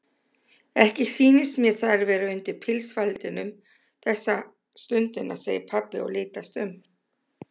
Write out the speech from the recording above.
Ekki sýnist mér þær vera undir pilsfaldinum þessa stundina segir pabbi og litast um.